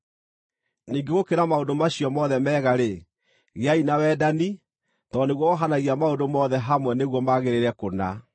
Ningĩ gũkĩra maũndũ macio mothe mega-rĩ, gĩai na wendani, tondũ nĩguo wohanagia maũndũ mothe hamwe nĩguo magĩrĩre kũna.